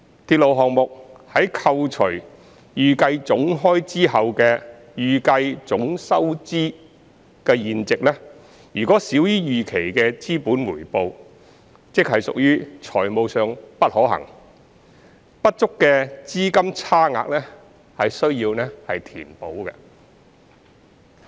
鐵路項目在扣除預計總開支後的預計總收入現值，若少於預期的資本回報，即屬"財務上不可行"，不足的資金差額需要填補。